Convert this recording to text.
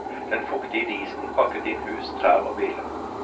Den fuktige disen pakket inn hus, trær og biler.